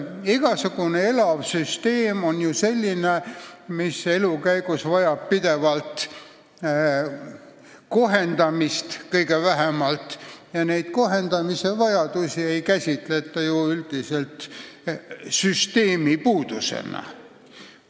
Igasugune elav süsteem on ju selline, mis elu käigus vajab vähemalt pidevat kohendamist ja seda kohendamise vajadust ei käsitata ju üldiselt süsteemi puudusena.